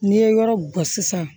N'i ye yɔrɔ bɔ sisan